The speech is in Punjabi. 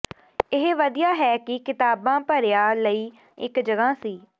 ਇਹ ਵਧੀਆ ਹੈ ਕਿ ਕਿਤਾਬਾਂ ਭਰਿਆ ਲਈ ਇੱਕ ਜਗ੍ਹਾ ਸੀ